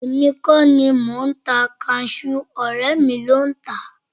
Èmi kọ́ ni mò ń ta kasú ọ̀rẹ́ mi ló ń tà á